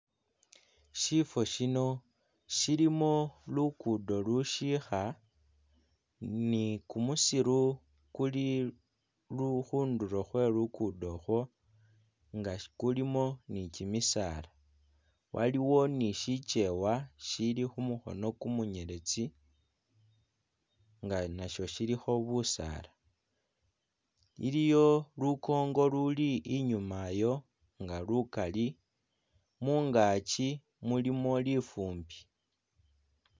Shifo shino shilimo lukudo lushiikha nikumusiru kuli lu-khundulo khwe lukudo khwo nga kulimo nikyimisaala waliwo nishikyewa shili khumukhono kumunyeletsi nga nasho shilikho busaala iliyo lukongo luli inyuma yo nga lukali mungakyi mulimo lifumbi